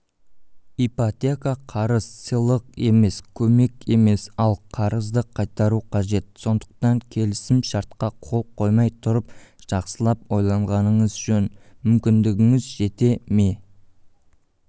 ипотека қарыз сыйлық емес көмек емес ал қарызды қайтару қажет сондықтан келісім-шартқа қол қоймай тұрып жақсылап ойланғаныңыз жөн мүмкіндігіңіз жете ме